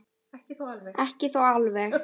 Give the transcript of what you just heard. Ekki þó alveg.